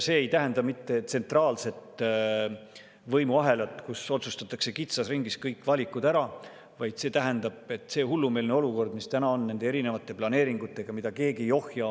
See ei tähenda mitte tsentraalset võimuahelat, kus otsustatakse kitsas ringis kõik valikud ära, vaid see tähendab, et see hullumeelne olukord, mis täna on nende erinevate planeeringutega, mida keegi ei ohja.